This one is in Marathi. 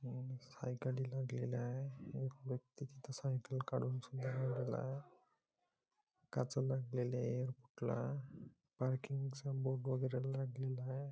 अं सायकली लागलेल्या आहे एक व्यक्ती तिथे सायकल काढून सुद्धा गेलेला आहे काचा लागलेल्या आहे पार्किंगचा बोर्ड वगैरे लागलेले आहे.